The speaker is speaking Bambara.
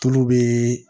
Tulu bɛ